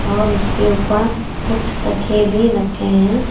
और उसके ऊपर कुछ तकिए भी रखे हैं।